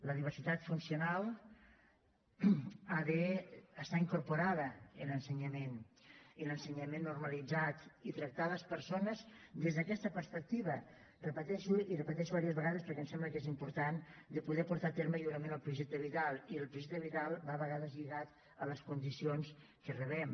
la diversitat funcional ha d’estar incorporada en l’ensenyament en l’ensenyament normalitzat i tractar les persones des d’aquesta perspectiva ho repeteixo i ho repeteixo diverses vegades perquè em sembla que és important de poder portar a terme lliurement el projecte vital i el projecte vital va a vegades lligat a les condicions que rebem